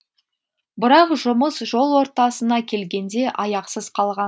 бірақ жұмыс жол ортасына келгенде аяқсыз қалған